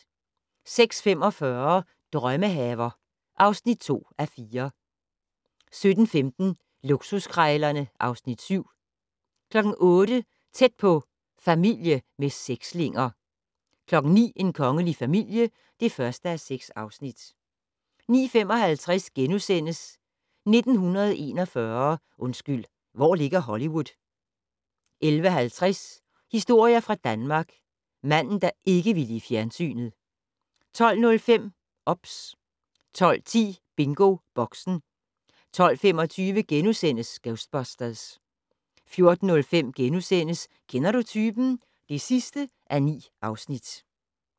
06:45: Drømmehaver (2:4) 07:15: Luksuskrejlerne (Afs. 7) 08:00: Tæt på: Familie med sekslinger 09:00: En kongelig familie (1:6) 09:55: 1941 - undskyld, hvor ligger Hollywood? * 11:50: Historier fra Danmark: Manden der ikke ville i fjernsynet 12:05: OBS 12:10: BingoBoxen 12:25: Ghostbusters * 14:05: Kender du typen? (9:9)*